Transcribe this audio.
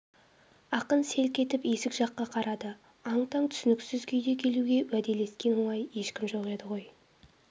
ақын селк етіп есік жаққа қарады аң-таң түсініксіз күйде келуге уәделескен ондай ешкім жоқ еді ғой